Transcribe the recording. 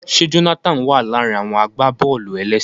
Ṣe Jonathan wa laarin àwọn agbábọ̀ọ̀lù-elese?